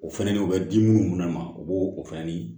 O fɛnɛ ni o bɛ di munnu ma u b'o o fɛnɛ ni